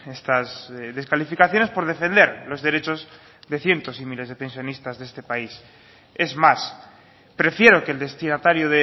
estas descalificaciones por defender los derechos de cientos y miles de pensionistas de este país es más prefiero que el destinatario